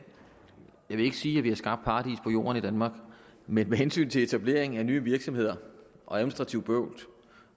vil ikke sige at vi har skabt paradis på jord i danmark men med hensyn til etablering af nye virksomheder administrativt bøvl